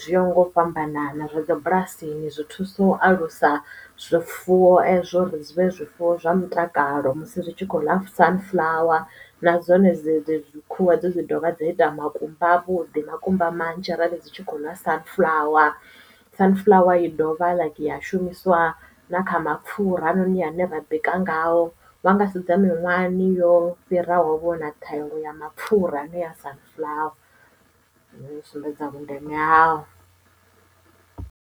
zwi yaho nga u fhambanana zwa dzi bulasini zwi thusa u alusa zwifuwo ezwo uri zwivhe zwifuwo zwa mutakalo musi zwi tshi kho ḽa sunflower na dzone dzi khuhu edzo dzi ḓovha dza ita makumba a vhuḓi makumba manzhi arali dzi tshi kho ḽa sunflower, sunflower i dovha ya shumiswa na kha mapfura hafhanoni hune ra ḓi ngayo vha nga sedza miṅwahani yo fhiraho vhona thengo ya mapfura ane ya a sunflower u sumbedza vhundeme hao.